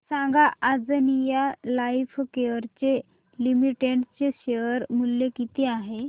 सांगा Anjaneya Lifecare Limited चे share मूल्य किती आहे